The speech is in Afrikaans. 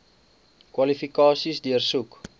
kwalifikasies deursoek